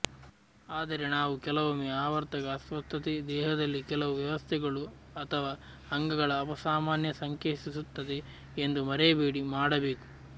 ಆದರೆ ನಾವು ಕೆಲವೊಮ್ಮೆ ಆವರ್ತಕ ಅಸ್ವಸ್ಥತೆ ದೇಹದಲ್ಲಿ ಕೆಲವು ವ್ಯವಸ್ಥೆಗಳು ಅಥವಾ ಅಂಗಗಳ ಅಪಸಾಮಾನ್ಯ ಸಂಕೇತಿಸುತ್ತದೆ ಎಂದು ಮರೆಯಬೇಡಿ ಮಾಡಬೇಕು